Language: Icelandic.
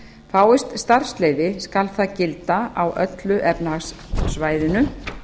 fáist starfsleyfi skal það gilda á öllu efnahagssvæðinu